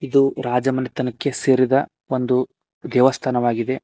ಇದು ರಾಜಮನೆತನಕ್ಕೆ ಸೇರಿದ ಒಂದು ದೇವಸ್ಥಾನವಾಗಿದೆ.